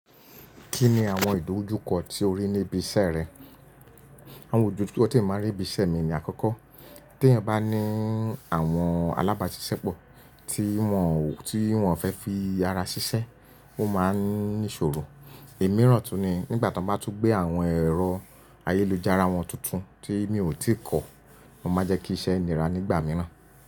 Kí ni àwọn ìdójúkọ tí o rí níbi iṣẹ́ rẹ? Àwọn ìdójúkọ tí e maa n rí níbi iṣẹ́ mi ní àkọ́kọ́, tí ẹyan bá ní àwọn alábáṣiṣẹ́ pọ̀ tí wọ́n, tí wọ́n fẹ́ fi ara ṣiṣẹ́, ó máa n ní ìṣòro. Imirán tun ni nígbà tí wọ́n bá tún gbé àwọn ẹ̀rọ ayélujára wọn tuntun tí mi ò tíì kọ́, o máa n jẹ́ kí iṣẹ́ nira nígbà mìíràn.